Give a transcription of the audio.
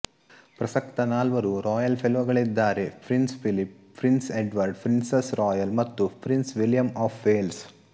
ಪ್ರಸಕ್ತ ನಾಲ್ವರು ರಾಯಲ್ ಫೆಲೋಗಳಿದ್ದಾರೆ Prince Philip Prince Edward Princess Royal ಮತ್ತು ಪ್ರಿನ್ಸ್ ವಿಲಿಯಂ ಆಫ್ ವೇಲ್ಸ್